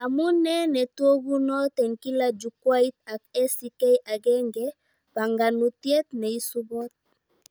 Amunee netokunot eng kila Jukwait ak ACK agenge, banganutiet neisubot